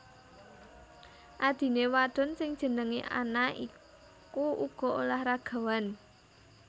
Adhiné wadon sing jenengé Anna iku uga olahragawan